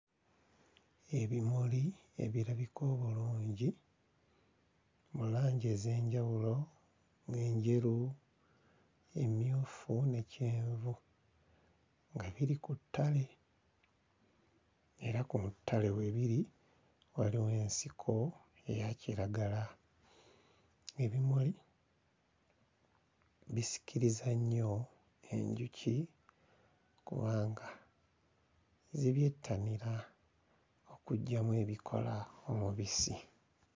Ebimuli ebirabika obulungi mu langi ez'enjawulo ng'enjeru, emmyufu ne kyenvu nga biri ku ttale era ku ttale we biri waliwo ensiko eya kiragala. Ebimuli bisikiriza nnyo enjuki kubanga zibyettanira okuggyamu ebikola omubisi.